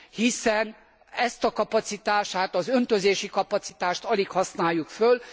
Hiszen ezt a kapacitását, az öntözési kapacitást alig használjuk föl.